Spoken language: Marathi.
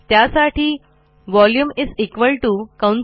त्यासाठी व्हॉल्यूम 13 π आ² ह हे सूत्र आहे